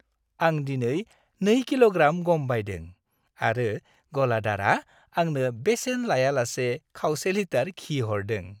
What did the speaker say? आं दिनै 2 किल'ग्राम गम बायदों आरो गलादारआ आंनो बेसेन लायालासे खावसे लिटार घि हरदों।